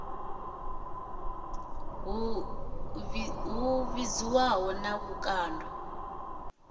i ḓi hudzaho na vhukando